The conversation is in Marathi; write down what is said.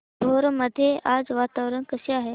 भोर मध्ये आज वातावरण कसे आहे